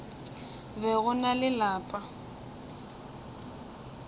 be go na le lapa